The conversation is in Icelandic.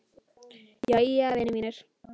Jæja, vinir mínir.